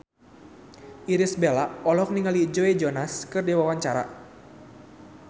Irish Bella olohok ningali Joe Jonas keur diwawancara